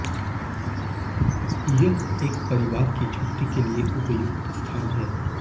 यह एक परिवार की छुट्टी के लिए उपयुक्त स्थान है